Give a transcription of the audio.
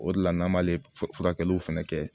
O de la n'an m'ale furakɛliw fɛnɛ kɛ